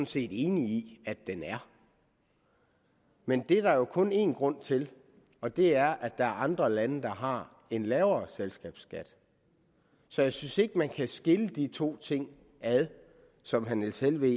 set enig i at den er men det er der kun én grund til og det er at der er andre lande der har en lavere selskabsskat så jeg synes ikke man kan skille de to ting ad som herre niels helveg